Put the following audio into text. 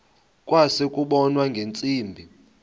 kwase kubonwa ngeentsimbi